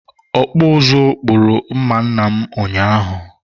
ọkpụ ụzụ kpụrụ mma nna m ụnyaahụ.